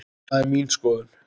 Það er mín skoðun.